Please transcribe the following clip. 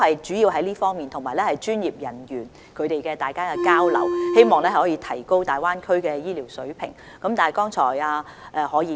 主要是這方面的討論，以及專業人員之間的交流，希望可以提高大灣區的醫療水平。